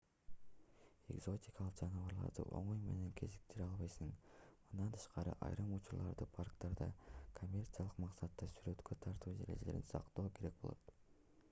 экзотикалык жаныбарларды оңой менен кезиктире албайсың мындан тышкары айрым учурларда парктарда коммерциялык максатта сүрөткө тартуу эрежелерин сактоо керек болот